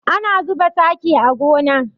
Ana zuba taki a gona.